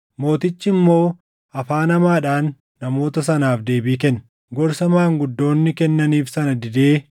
Mootichi immoo afaan hamaadhaan namoota sanaaf deebii kenne. Gorsa maanguddoonni kennaniif sana didee